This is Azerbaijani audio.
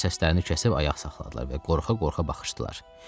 Onlar səslərini kəsib ayaq saxladılar və qorxa-qorxa baxışdılar.